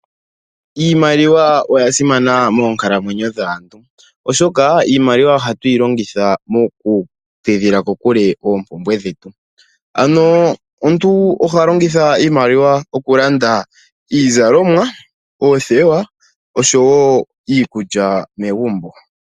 Iimaliwa oya simana moonkalamwenyo dhaantu, oshoka iimaliwa ohatu yi longitha mokutidhila kokule oompumbwe dhetu. Ano omuntu oha longitha iimaliwa okulanda iizalomwa, oothewa oshowo iikulya megumbo.